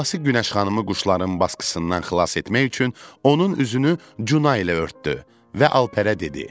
Babası Günəş xanımı quşların basqısından xilas etmək üçün onun üzünü cuna ilə örtdü və Alperə dedi: